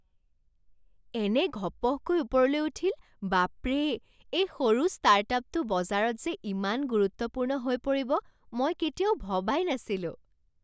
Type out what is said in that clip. এনে ঘপহকৈ ওপৰলৈ উঠিল, বাপৰে! এই সৰু ষ্টাৰ্টআপটো বজাৰত যে ইমান গুৰুত্বপূৰ্ণ হৈ পৰিব মই কেতিয়াও ভবাই নাছিলো।